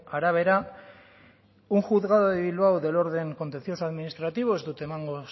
arabera un juzgado de bilbao del orden contencioso administrativo ez dut emango